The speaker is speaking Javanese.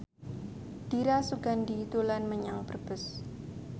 Dira Sugandi dolan menyang Brebes